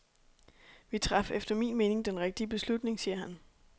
Vi traf efter min mening den rigtige beslutning, siger han.